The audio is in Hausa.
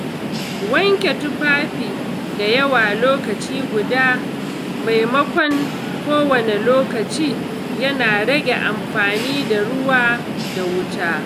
Wanke tufafi da yawa lokaci guda maimakon kowane lokaci yana rage amfani da ruwa da wuta.